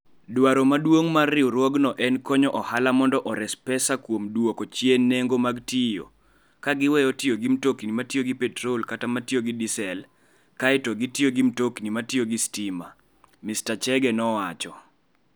Dwaro maduong' mar riwruogno en konyo ohala mondo ores pesa kuom duoko chien nengo mag tiyo, ka giweyo tiyo gi mtokni ma tiyo gi petrol kata ma tiyo gi diesel kae to gitiyo gi mtokni ma tiyo gi stima, Mr Chege nowacho.